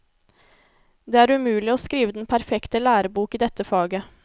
Det er umulig å skrive den perfekte lærebok i dette faget.